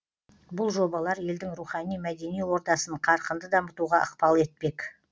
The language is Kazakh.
бұл жобалар елдің рухани мәдени ордасын қарқынды дамытуға ықпал етпек